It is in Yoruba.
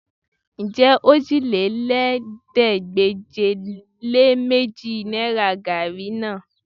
Ǹjẹ́ òjìlélẹ́ẹ̀ẹ́dégbèje-lé-méjì náìrà gaàrí ni náà?